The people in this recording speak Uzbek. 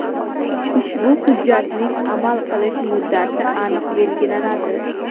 Ushbu hujjatning amal qilish muddati aniq belgilanadi.